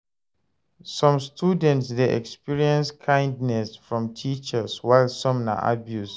Some students de experience kindness from teachers while some na abuse